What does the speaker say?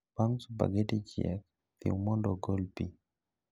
Bang' supageti chiek, thiw mondo ogol pii